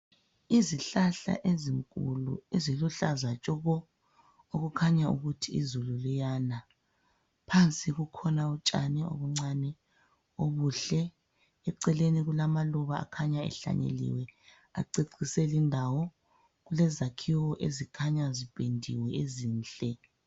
Izihlahla ezinkulu eziluhlaza tshoko okukhanya ukuthi izulu liyana. Phansi kukhona utshani obuncane obuhle ,eceleni kulamaluba akhanya ehlanyeliwe acecise lindawo. Kulezakhiwo ezikhanya zipendiwe ezinhle.